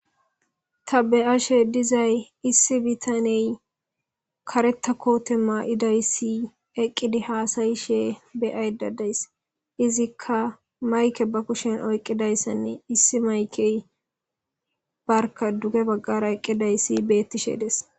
ta beyashe dizay issi bitaney kareta koote maa7idayssi eqqidi haasayishe beyay dadays izikka mayke ba kushen oyqqidayssanne issi maykey barka duge baggara eqqiday si beettishedes